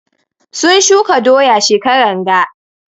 Sun shuka doya shekaran ga.